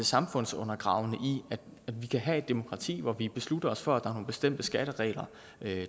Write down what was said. samfundsundergravende i at vi kan have demokrati hvor vi beslutter os for at der er nogle bestemte skatteregler